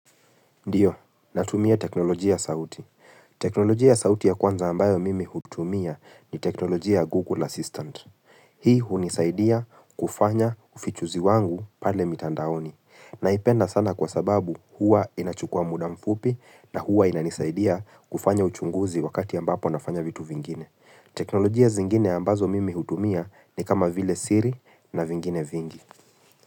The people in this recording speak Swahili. Ndio, natumia teknolojia ya sauti. Teknolojia sauti ya kwanza ambayo mimi hutumia ni teknolojia Google Assistant. Hii hunisaidia kufanya ufichuzi wangu pale mitandaoni. Naipenda sana kwa sababu huwa inachukua muda mfupi na huwa inanisaidia kufanya uchunguzi wakati ambapo nafanya vitu vingine. Teknolojia zingine ambazo mimi hutumia ni kama vile siri na vingine vingi.